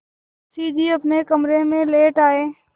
मुंशी जी अपने कमरे में लौट आये